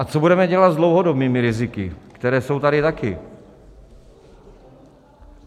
A co budeme dělat s dlouhodobými riziky, která jsou tady taky?